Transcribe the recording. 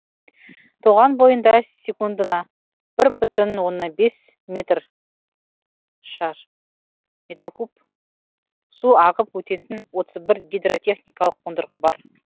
тоған бойында секундына бір бүтін оннан бес метр куб су ағып өтетін отыз бір гидротехникалық қондырғы бар